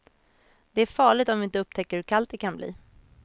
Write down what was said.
Det är farligt om vi inte upptäcker hur kallt det kan bli.